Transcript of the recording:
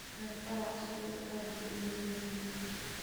Taarikada cashadayda aad bay u midabaysan yihiin.